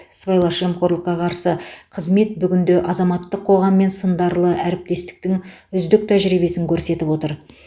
сыбайлас жемқорлыққа қарсы қызмет бүгінде азаматтық қоғаммен сындарлы әріптестіктің үздік тәжірибесін көрсетіп отыр